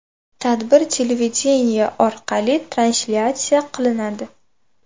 Tadbir televideniye orqali translyatsiya qilinadi.